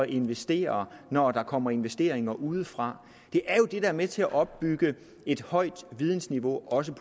investere når der kommer investeringer udefra det er jo det der er med til at opbygge et højt vidensniveau også